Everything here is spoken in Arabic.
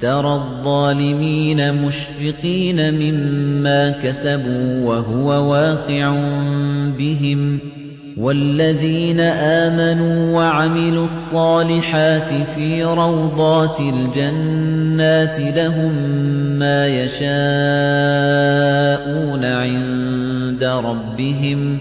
تَرَى الظَّالِمِينَ مُشْفِقِينَ مِمَّا كَسَبُوا وَهُوَ وَاقِعٌ بِهِمْ ۗ وَالَّذِينَ آمَنُوا وَعَمِلُوا الصَّالِحَاتِ فِي رَوْضَاتِ الْجَنَّاتِ ۖ لَهُم مَّا يَشَاءُونَ عِندَ رَبِّهِمْ ۚ